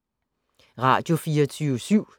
Radio24syv